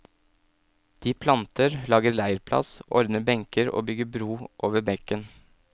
De planter, lager leirplass, ordner benker og bygger bro over bekken.